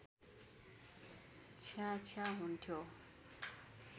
छ्याछ्या हुन्थ्यो